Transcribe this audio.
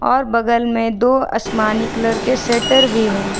और बगल में दो असमानी कलर के सेटर भी हैं।